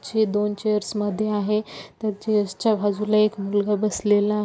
चे दोन चेयर्स मध्ये आहे तर चेयर्स च्या बाजूला एक मुलगा बसलेला --